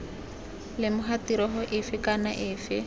lemoga tirego efe kana efe